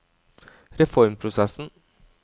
reformprosessen